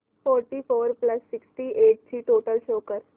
thirty four plus sixty eight ची total show कर